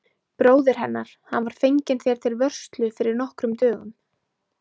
Bróðir hennar, hann var fenginn þér til vörslu fyrir nokkrum dögum.